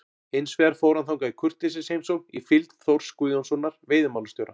Hins vegar fór hann þangað í kurteisisheimsókn í fylgd Þórs Guðjónssonar veiðimálastjóra.